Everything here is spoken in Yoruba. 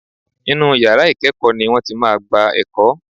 Inú yàrá ìkẹ́ẹ̀kọ́ ni wọ́n ti máa gba ẹ̀kọ́.